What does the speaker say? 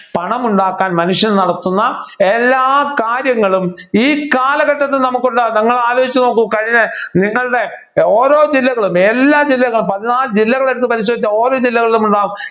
പണം ഉണ്ടാക്കാൻ മനുഷ്യൻ നടത്തുന്ന എല്ലാ കാര്യങ്ങളും ഈ കാലഘട്ടത്തിൽ നമുക്ക് ഉണ്ടാവും നിങ്ങൾ ആലോചിച്ചു നോക്കൂ കഴിഞ്ഞ നിങ്ങളുടെ ഓരോ ജില്ലകളും എല്ലാ ജില്ലകളും പതിനാലു ജില്ലകളു എടുത്തു പരിശോധിച്ചാൽ ഓരോ ജില്ലകളും ഉള്ള